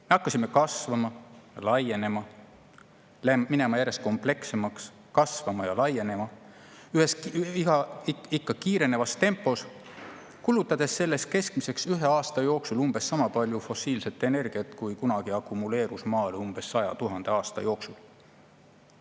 Me hakkasime kasvama, laienema, muutuma järjest komplekssemaks, kasvama ja laienema ikka kiirenevas tempos, kulutades selleks keskmiselt ühe aasta jooksul umbes sama palju fossiilset energiat, kui kunagi akumuleerus Maal 100 000 aasta jooksul.